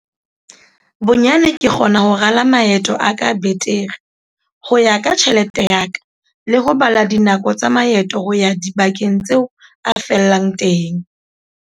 "Bonyane ke kgona ho rala maeto a ka betere, ho ya ka tjhelete ya ka, le ho bala dinako tsa maeto ho ya dibakeng tseo a fellang teng."